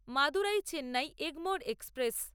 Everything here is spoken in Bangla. মাদুরাই চেন্নাই এগমোর এক্সপ্রেস